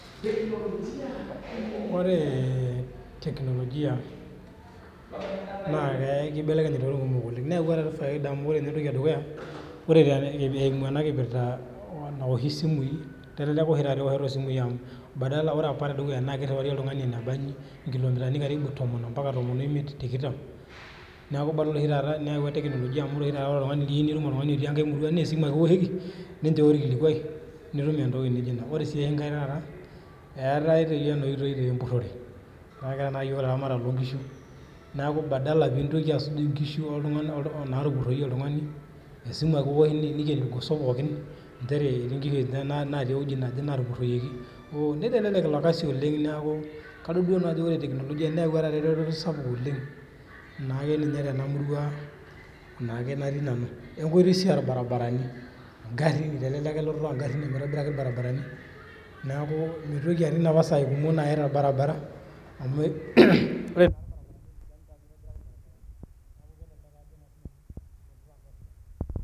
Ore technologia na kibelekenye ntokitin kumok oleng na keeta si faida amu ore eimu enakipirta naoshi simui kelelek oshi taata ewoshoto osimui amu badala ore apa tedukuya na kiriwari oltungani enkitu woi nabanji nkilomitani karibu tomon ,ambaka timon oimiet tikitam neaku tebiyieu nitum oltungani otii enkae murua na esimu ake iwoshoki nincho orkilikuai nitum entoki nijo ina, ore si enkae eetae toi enoshi oitoi empurore ,ore na iyoo laramatak lonkishu neaku badala nintoki asuj nkishu oltunganak natupuroyie oltungani, esimu ake iwosh nikeni irgoso pookin nchere etii nkishu natii uwueji naje natupuroyieki, nitelelek iorkasi oleng neaku kadol duo nanu ajo ore technologia neyawua eretoto sapuk oleng naake ninye tenamurua natii nanu we nkoitoi si orbaribarani ongarin tenemeeti sii enitobiraki irbaribarani neakumitoki atum noshi sai naya oltungani torbaribara amu .